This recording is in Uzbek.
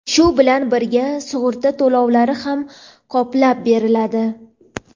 shu bilan birga sug‘urta to‘lovlari ham qoplab beriladi.